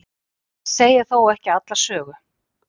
Það segir þó ekki alla sögu.